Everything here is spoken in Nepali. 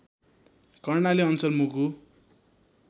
कर्णाली अञ्चल मुगु